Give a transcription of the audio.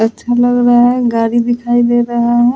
बहुत अच्छा लग रहा है गाड़ी दिखाई दे रहा है ।